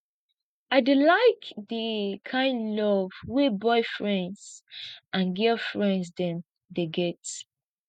i dey like di kind love wey boyfriends and girlfriends dem dey get